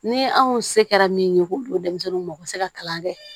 Ni anw se kɛra min ye k'o don denmisɛnninw ma o bɛ se ka kalan kɛ